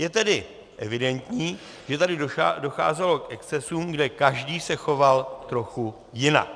Je tedy evidentní, že tady docházelo k excesům, kde každý se choval trochu jinak.